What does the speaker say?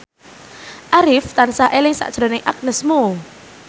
Arif tansah eling sakjroning Agnes Mo